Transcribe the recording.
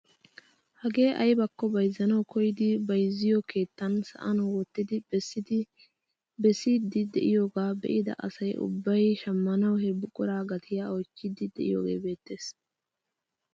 Hagee aybakko bayzzanawu koyidi bayzziyoo keettan sa'an wottidi bessiidi de'iyoogaa be'ida asa ubbay shammanawu he buquraa gatiyaa oychchiidi de'iyoogee beettees.